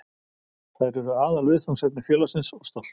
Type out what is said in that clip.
Þær eru aðalviðfangsefni félagsins og stolt.